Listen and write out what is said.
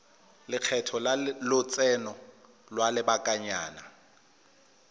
lekgetho la lotseno lwa lobakanyana